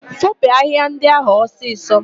Foopu ahịhịa ndị ahụ ọsịsọ!